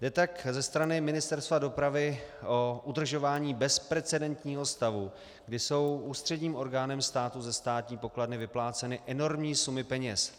Jde tak ze strany Ministerstva dopravy o udržování bezprecedentního stavu, kdy jsou ústředním orgánem státu ze státní pokladny vypláceny enormní sumy peněz.